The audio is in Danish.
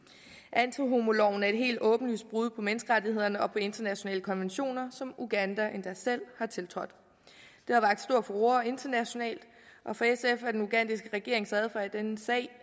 antihomoloven er et helt åbenlyst brud på menneskerettighederne og på internationale konventioner som uganda endda selv har tiltrådt det har vakt stor furore internationalt og for sf er den ugandiske regerings adfærd i denne sag